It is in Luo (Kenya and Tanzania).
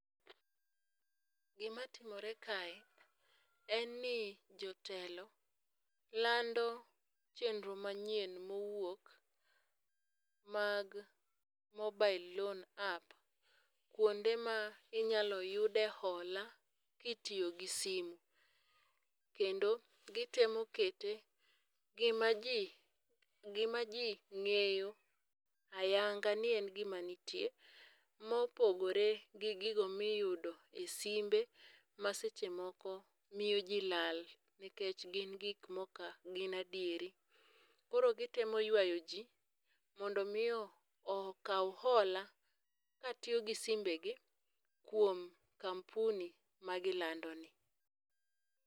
Gima timore kae en ni jotelo lando chenro manyien mowuok mag mobile loan app, kuonde ma inyalo yude hola kitiyo gi simu. Kendo gitemo kete gimaji gimaji ng'eyo ayanga ni en gima nitie mopogore gi gigo miyudo isimbe maseche moko miyoji lal nikech gin gik maok adieri. Koro gitemo yuayoji mondo miyo okaw hola katiyo gi simbegi kuom kampuni magilandoni.